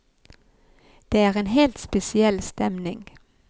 Det er en helt spesiell stemning.